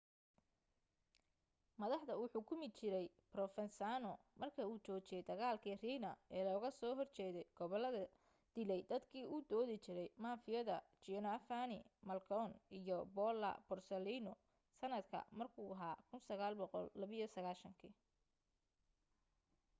madaxda uu xukumi jiray provenzano marka uu joojiyay dagaalki riina ee looga soo horjeday gobolada dilay dadkii u doodi jiray mafiyada giovanni falcone iyo paolo borsellino sanadka markuu ahaa 1992